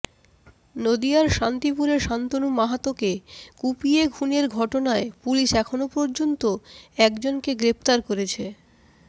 নদিয়ার শান্তিপুরে শান্তনু মাহাতোকে কুপিয়ে খুনের ঘটনায় পুলিশ এখনও পর্যন্ত একজনকে গ্রেফতার করেছে